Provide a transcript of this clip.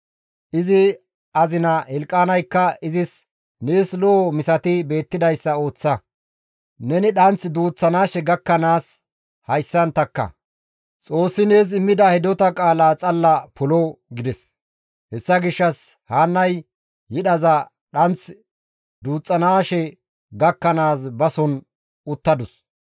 Izi azina Hilqaanaykka izis, «Nees lo7o misati beettidayssa ooththa; ne dhanththi duuththanaashe gakkanaas hayssan takka; Xoossi nees immida hidota qaalaa xalla polo» gides; hessa gishshas Haannay yidhaza dhanth duuththanaashe gakkanaas bason uttadus.